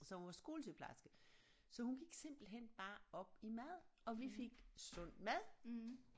Så hun var skolesygeplejerske så hun gik simpelthen bare op i mad og vi fik sund mad